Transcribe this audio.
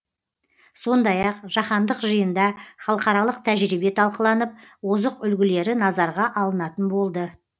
сондай ақ жаһандық жиында халықаралық тәжірибе талқыланып озық үлгілері назарға алынатын болды